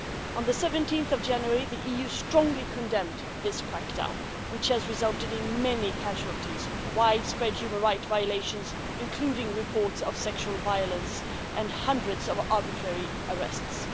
On 17 January the EU strongly condemned this crackdown, which has resulted in many casualties, widespread human rights violations including reports of sexual violence and hundreds of arbitrary arrests.